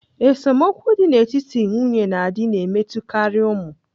Esemokwu dị n'etiti nwunye na di na-emetụtakarị ụmụ.